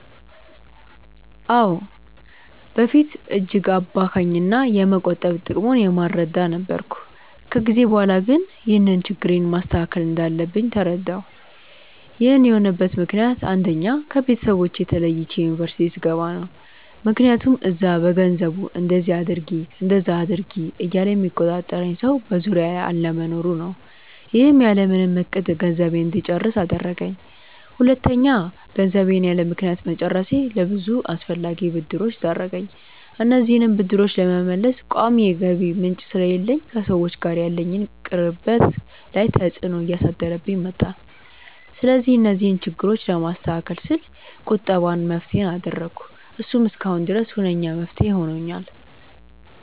አዎ። በፊት እጅግ አባካኝ እና የመቆጠብ ጥቅሙን የማልረዳ ነበርኩ። ከጊዜ በኋላ ግን ይህንን ችግሬን ማስተካከል እንዳለብኝ ተረዳሁ። ይህን የሆነበት ምክንያት አንደኛ: ከቤተሰቦቼ ተለይቼ ዩኒቨርስቲ ስገባ ነው። ምክያቱም እዛ በገንዘቡ እንደዚ አድርጊ እንደዛ አድርጊ እያለ የሚቆጣጠረኝ ሰው በዙሪያዬ አለመኖሩ ነው። ይህም ያለምንም እቅድ ገንዘቤን እንድጨርስ አደረገኝ። ሁለተኛ: ገንዘቤን ያለምክንያት መጨረሴ ለብዙ አላስፈላጊ ብድሮች ዳረገኝ። እነዚህንም ብድሮች ለመመለስ ቋሚ የገቢ ምንጭ ስለሌለኝ ከሰዎች ጋር ያለኝን ቅርበት ላይ ተፅዕኖ እያሳደረብኝ መጣ። ስለዚህ እነዚህን ችግሮች ለማስተካከል ስል ቁጠባን መፍትሄ አደረኩ። እሱም እስካሁን ድረስ ሁነኛ መፍትሄ ሆኖኛል።